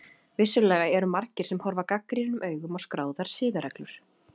Vissulega eru margir sem horfa gagnrýnum augum á skráðar siðareglur.